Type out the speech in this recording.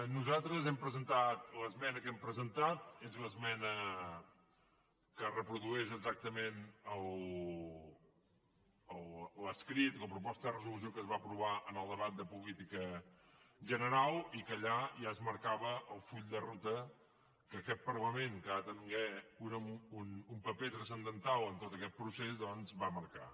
nosaltres hem presentat l’esmena que hem presentat és l’esmena que reprodueix exactament l’escrit la proposta de resolució que es va aprovar en el debat de política general i que allà ja es marcava el full de ruta que aquest parlament que ha de tenir un paper transcendental en tot aquest procés doncs va marcar